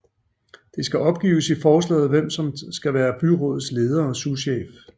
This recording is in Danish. Det skal opgives i forslaget hvem som skal være byrådets leder og souschef